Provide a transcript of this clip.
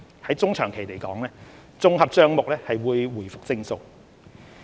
在中長期而言，綜合帳目會回復正數。